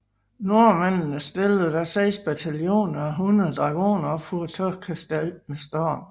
Nordmændene stillede da seks bataljoner og hundrede dragoner op for at tage kastellet med storm